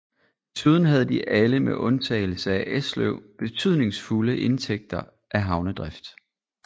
Desuden havde de alle med undtagelse af Esløv betydningsfulde indtægter af havnedrift